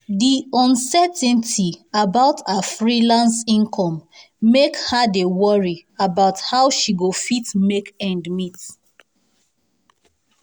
the uncertainty about her freelance income make her dey worry about how she go fit make ends meet.